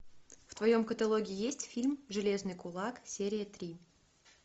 в твоем каталоге есть фильм железный кулак серия три